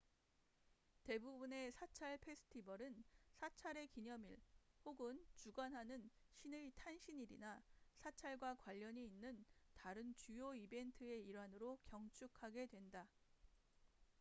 대부분의 사찰 페스티벌은 사찰의 기념일 혹은 주관하는 신의 탄신일이나 사찰과 관련이 있는 다른 주요 이벤트의 일환으로 경축하게 된다